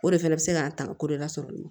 O de fɛnɛ be se k'a tanga ko dɔ la sɔrɔ